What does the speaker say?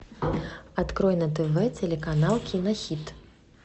открой на тв телеканал кинохит